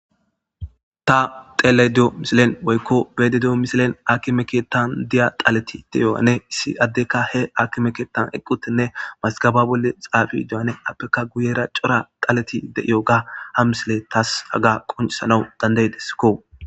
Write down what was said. Ta tele di,o misilen woykko beede diyo misilen aki meketan diya xaleti deyowane issi addeka he aki meketan eqqutinne mazgaba bolle xaafi do,ane appeka guyera cora xaleti de,iyo ga ha misile taas haga qonisanawu dandaydeskko.